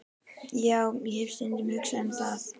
Já, ég hef stundum hugsað um það.